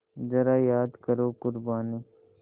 ज़रा याद करो क़ुरबानी